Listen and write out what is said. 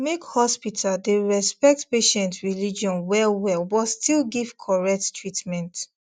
make hospital dey respect patient religion wellwell but still give correct treatment